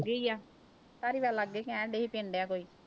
ਗਈ ਆ ਲਾਗੇ ਕਹਿਣ ਡਿਆ ਸੀ ਆ ਕੋਈ।